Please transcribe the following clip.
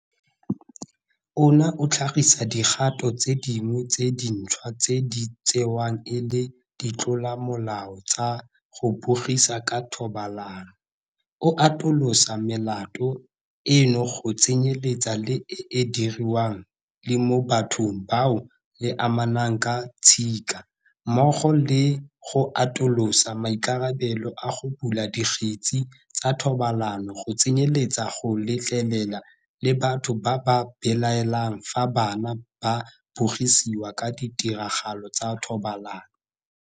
Ona o tlhagisa dikgato tse dingwe tse dintšhwa tse di tsewang e le ditlolomolao tsa go bogisa ka thobalano, o atolosa melato eno go tsenyeletsa le e e diriwang le mo bathong bao le amanang ka tshika, mmogo le go atolosa maikarabelo a go bula dikgetse tsa thobalano go tsenyeletsa go letlelela le batho ba ba belaelang fa bana ba bogisiwa ka ditiragalo tsa thobalano.